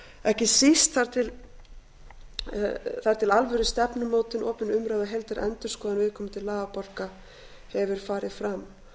ekki síst þar til alvöru stefnumótun opin umræða og heildarendurskoðun viðkomandi lagabálka hefur farið fram það